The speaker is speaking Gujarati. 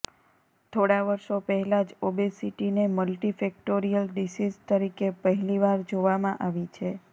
થોડા વર્ષો પહેલા જ ઓબેસિટીને મલ્ટિફેક્ટોરિયલ ડિસીઝ તરીકે પહેલી વાર જોવામાં આવી છે